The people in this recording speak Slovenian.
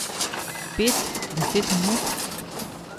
Pet, deset minut?